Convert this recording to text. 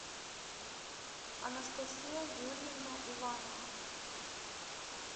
анастасия юрьевна иванова